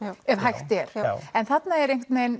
ef hægt er já en þarna er